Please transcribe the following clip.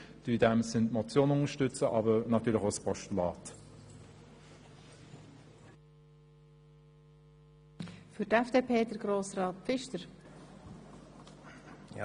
In diesem Sinne unterstützen wir die Motion und natürlich auch das Postulat.